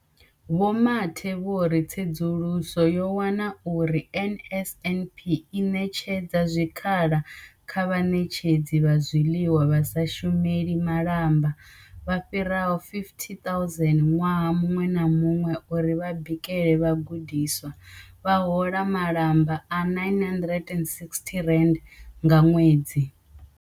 Vho Mathe vho ri tsedzuluso yo wana uri NSNP i ṋetshedza zwikhala kha vhaṋetshedzi vha zwiḽiwa vha sa shumeli malamba vha fhiraho 50 000 ṅwaha muṅwe na muṅwe uri vha bikele vhagudiswa, vha hola malamba a R960 nga ṅwedzi.